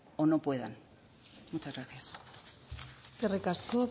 o no puedan muchas gracias eskerrik asko